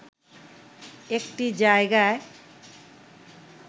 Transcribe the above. একটি জায়গায়